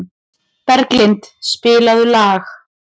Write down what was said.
Berglind, spilaðu lag.